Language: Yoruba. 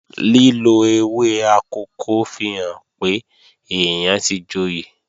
Lílo ewé akòko fihàn pé èèyàn tí joyè